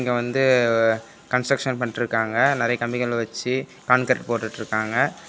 இங்க வந்து கான்ஸ்ட்ரக்சன்ஸ் பண்ணிட்டுருக்காங்க நெறய கம்பிகள வச்சி கான்கிரீட் போட்டுட்டுருக்காங்க.